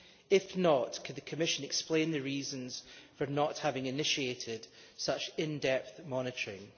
If not, can the Commission explained the reasons for not having initiated such in depth monitoring?